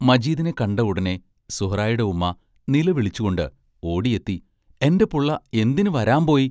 മജീദിനെ കണ്ട ഉടനെ സുഹ്റായുടെ ഉമ്മാ നില വിളിച്ചുകൊണ്ട് ഓടിയെത്തി എന്റെ പുള്ള എന്തിനു വരാമ്പോയി?